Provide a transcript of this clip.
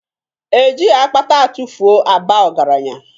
Ejighị akpata atụfuo aba ọgaranya